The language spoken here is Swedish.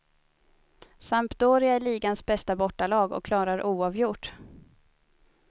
Sampdoria är ligans bästa bortalag och klarar oavgjort.